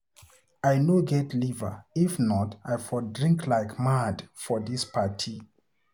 I no get the liver, if not I for drink like mad for dis party.